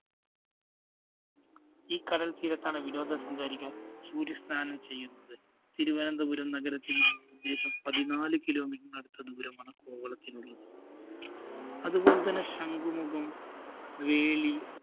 ഈ കടല്‍ തീരത്താണ് വിനോദസഞ്ചാരികള്‍ സൂര്യസ്നാനം ചെയ്യുന്നത്. തിരുവനന്തപുരം നഗരത്തില്‍ നിന്ന് ഉദ്ദേശം പതിനാല് kilometer നടുത്ത് ദൂരമാണ് കോവളത്തിനുള്ളത്. അതുപോലെതന്നെ ശംഖുമുഖം, വേളി,